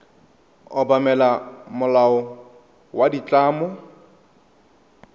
obamela molao wa ditlamo wa